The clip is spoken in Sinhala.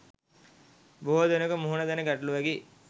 බොහෝ දෙනකු මුහුණ දෙන ගැටලුවකි.